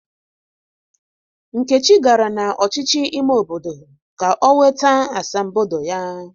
Nkechi gara na ọchịchị ime obodo ka ọ nweta asambodo ya.